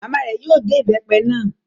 Màmá rẹ̀ yóò gé ìbépe náà